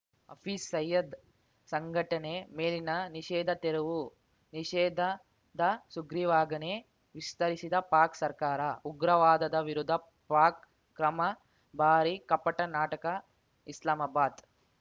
ಹಫೀಜ್‌ ಸಯೀದ್‌ ಸಂಘಟನೆ ಮೇಲಿನ ನಿಷೇಧ ತೆರವು ನಿಷೇಧದ ಸುಗ್ರೀವಾಜ್ಞೆ ವಿಸ್ತರಿಸಿದ ಪಾಕ್‌ ಸರ್ಕಾರ ಉಗ್ರವಾದದ ವಿರುದ್ಧ ಪಾಕ್‌ ಕ್ರಮ ಬಾರೀ ಕಪಟ ನಾಟಕ ಇಸ್ಲಾಮಾಬಾದ್‌